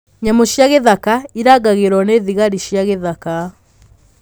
Nyamũ cia gĩthaka irangagĩrũo nĩ thigari cia gĩthaka.